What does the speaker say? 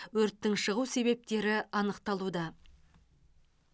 өрттің шығу себептері анықталуда